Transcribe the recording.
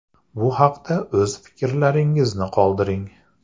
Bu haqda o‘z fikrlaringizni qoldiring.